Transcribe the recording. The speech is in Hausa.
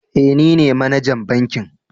Eh nine manajan bankin